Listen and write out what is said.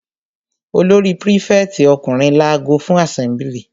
Olórí prífẹ̀tì ọkùnrin lago fún àsẹ́mblì.